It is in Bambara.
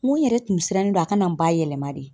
N ko n yɛrɛ tun sirannen don a kana n ba yɛlɛma de